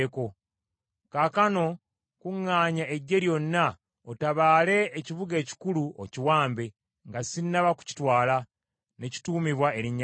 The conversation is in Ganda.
Kaakano kuŋŋaanya eggye lyonna, otabaale ekibuga ekikulu, okiwambe, nga sinnaba kukitwala, ne kituumibwa erinnya lyange.”